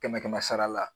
Kɛmɛ kɛmɛ sara la